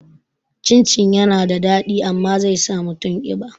Cin cin yana da daɗi amma zai sa mutum ƙiba